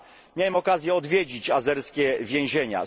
Miałem okazję odwiedzić azerskie więzienia.